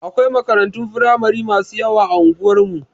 Akwai makarantun firamari masu yawa a unguwar mu.